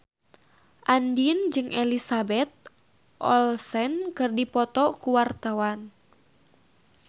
Andien jeung Elizabeth Olsen keur dipoto ku wartawan